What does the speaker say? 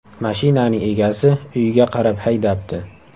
Mashinaning egasi uyiga qarab haydabdi.